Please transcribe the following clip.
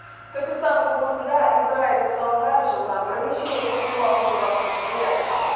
түркістан облысында израильдік ғалымдар жылына бірнеше рет өнім алу жобасын жүзеге асырмақ